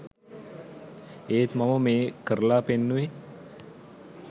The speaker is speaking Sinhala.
ඒත් මම මේ කරලා පෙන්නුවේ